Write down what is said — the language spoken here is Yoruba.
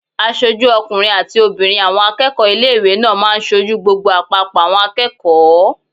Aṣojú ọkùnrin àti obìnrin àwọn akẹ́kọ̀ọ́ ilé-ìwé náà máa n sojú gbogbo àpapọ̀ àwọn akẹ́kọ̀ọ́